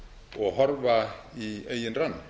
og horfa í eigin rann